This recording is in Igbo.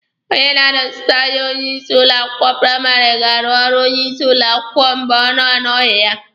Onye na-anọsite anya onye isi ụlọ akwụkwọ praịmarị ga-arụ ọrụ onye isi ụlọ akwụkwọ mgbe ọ na-anọghị ya.